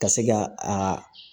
Ka se ka a